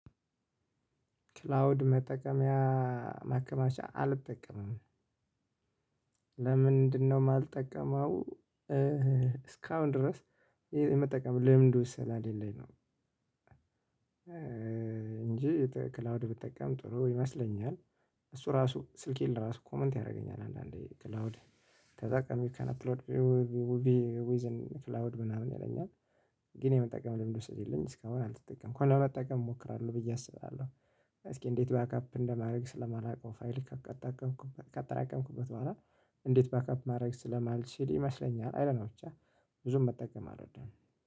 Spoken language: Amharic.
ክላውድ መጠቀሚያ ማከማቻ አልጠቀምም። ለምንድነው እማልጠቀመው? እስካሁን ድረስ የመጠቀም ልምዱ ስላሌለኝ ነው። እንጂ ክላውድ ብጠቀም ጥሩ ይመስለኛል። እሱ ራሱ ስልኬን እራሱ ኮመንት ያደርገኛል አንዳንዴ ክላውድ ተጠቅሜ ካን አፕሎድ ዊዝን ክላውድ ምናምን ይለኛል። ግን የመጠቀም ልምዱ ስለሌለኝ እስካሁን አልተጠቀምኩም እኮ ለመጠቀም እሞክራለሁ ብዬ አስባለሁ። እስኪ እንዴት ባክአፕ እንደማድረግ ስለማላውቀው ፋይል ከአጠራቀምኩበት በኋላ። እንዴት ባክአፕ ማድረግ ስለማልችል ይመስለኛል አይዶንትኖ ብቻ ብዙም መጠቀም አልወድም።